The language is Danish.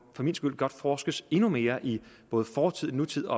for min skyld godt forskes endnu mere i både fortid og nutid